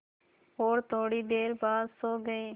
और थोड़ी देर बाद सो गए